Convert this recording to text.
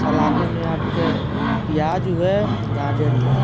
सलादे में आपके उ प्याज हे गाजर इहे।